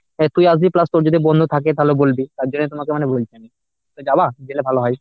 অ্যাঁ তুই আসবি plus তোর যদি বন্ধু থাকে তাহলেও বলবি তার জন্য তোমাকে মানে বলছি আমি। তুমি যাবা? জেলে ভালো হয়